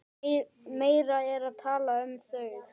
Meira er talað um þau.